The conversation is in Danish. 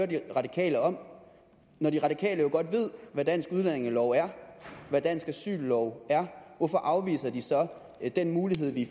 de radikale om når de radikale jo godt ved hvad dansk udlændingelov er hvad dansk asyllov er hvorfor afviser de så den mulighed vi